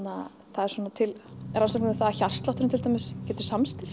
það eru til rannsóknir um það að hjartslátturinn til dæmis getur